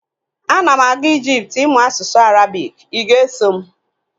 Ana m aga Ijipt ịmụ asụsụ Arabik, ị ga-eso m?